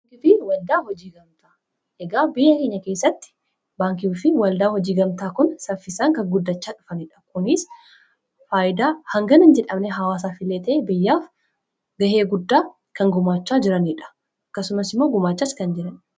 baankiifiwaldaa hojii gamtaa egaa biyya keenya keessatti baankii fi waldaa hojii gamtaa kun saffisaan kan guddachaa dhufaniidha kuniis faayyidaa hangana jedhamne hawaasaa fileetee biyyaaf gahee guddaa kan gumaachaa jiraniidha akkasumas immoo gumaachaas kan jirani